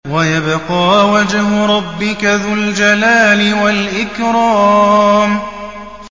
وَيَبْقَىٰ وَجْهُ رَبِّكَ ذُو الْجَلَالِ وَالْإِكْرَامِ